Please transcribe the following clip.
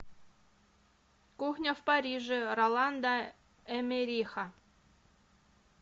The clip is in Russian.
кухня в париже роланда эммериха